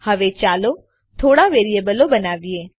હવે ચાલો થોડા વેરીયેબલો બનાવીએ